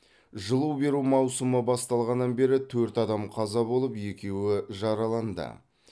жылу беру маусымы басталғаннан бері төрт адам қаза болып екеуі жараланды